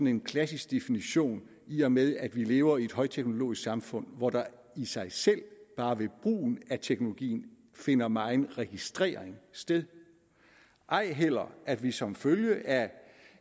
en klassisk definition i og med at vi lever i et højteknologisk samfund hvor der i sig selv bare ved brugen af teknologien finder megen registrering sted ej heller at vi som følge af